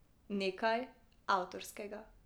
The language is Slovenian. Nekaj avtorskega.